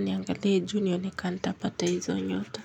niangalie juu nione kanitapata hizo nyota.